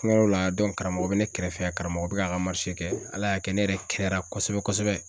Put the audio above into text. An ka yɔrɔ la karamɔgɔ bɛ ne kɛrɛfɛ, karamɔgɔ bɛ k'a ka kɛ, Ala y'a kɛ ne yɛrɛ kɛnɛyara kosɛbɛ kosɛbɛ